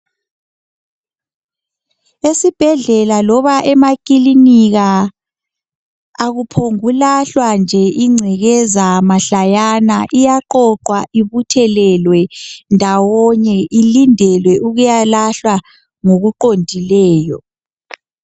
esibhedlela loba emakilinika akuphombukulahlwa nje ingcekeza mahlayana iyaqoqwa ibuthelelwe ndawonye ilendele ukuyalahlwa ngokuqondileyo